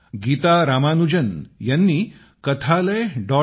गीता रामानुजन यांनी kathalaya